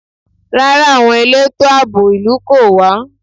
Rárá, àwọn elétò àbò ìlú kò wá.